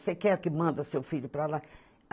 Você quer que manda seu filho para lá?